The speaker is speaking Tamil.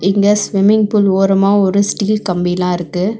இங்க ஸ்விம்மிங் பூல் ஓரமா ஒரு ஸ்டீல் கம்பிலா இருக்கு.